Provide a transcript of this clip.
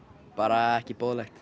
bara ekki boðlegt